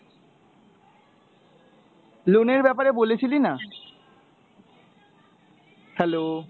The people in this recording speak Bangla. loan এর ব্যাপারে বলেছিলি না? hello!